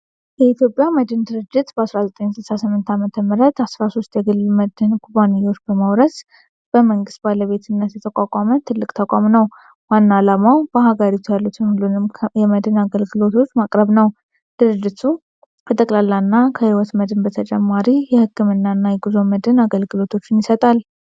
የኢትዮጵያ መድን ድርጅት በ1968 ዓ.ም፣ 13 የግል የመድን ኩባንያዎችን በመውረስ በመንግሥት ባለቤትነት የተቋቋመ ትልቅ ተቋም ነው። ዋና ዓላማው በሃገሪቱ ያሉትን ሁሉንም የመድን አገልግሎቶች ማቅረብ ነው። ድርጅቱ ከጠቅላላና ከሕይወት መድን በተጨማሪ የሕክምናና የጉዞ መድን አገልግሎቶችን ይሰጣል።